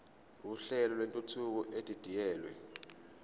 uhlelo lwentuthuko edidiyelwe